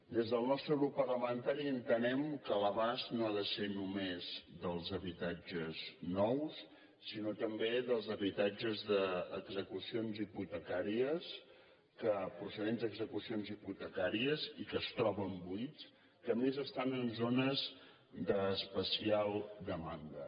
des del nostre grup parlamentari entenem que l’abast no ha de ser només dels habitatges nous sinó també dels habitatges d’execucions hipotecàries procedents d’execucions hipotecàries i que es troben buits que a més estan en zones d’especial demanda